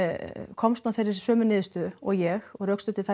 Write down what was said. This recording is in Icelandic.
komst að þeirri sömu niðurstöðu og ég og rökstuddi það